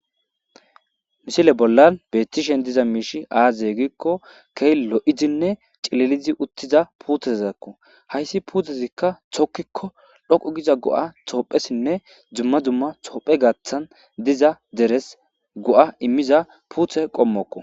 mishile bollan bettishen diza miishi aazyegikko kee lo7izinne cilelizi uttiza puuthezazakko hayssi puthezikka thokkikko dhoqu giza go7a toophesinne dzumma dumma toophe gaththan diza deres go7a immiza puuthe qommokko